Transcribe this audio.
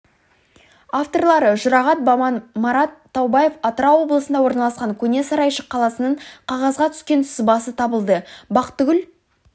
авторлары жұрағат баман марат таубаев атырау облысында орналасқан көне сарайшық қаласының қағазға түскен сызбасы табылды бақтыгүл